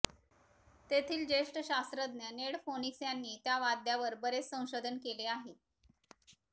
तेथील ज्येष्ठ शास्त्रज्ञ नेड फोनिक्स यांनी त्या वाद्यावर बरेच संशोधन केले आहे